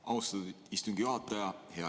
Austatud istungi juhataja!